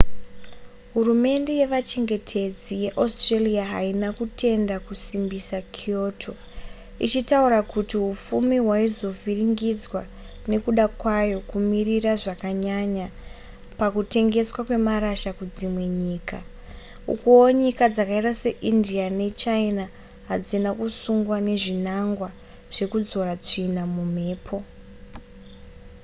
hurumende yevachengetedzi yeaustralia haina kutenda kusimbisa kyoto ichitaura kuti hupfumi hwaizovhiringidzwa nekuda kwayo kumirira zvakanyanya pakutengeswa kwemarasha kudzimwe nyika ukuwo nyika dzakaita seindia nechina hadzina kusungwa nezvinangwa zvekudzora tsvina mumhepo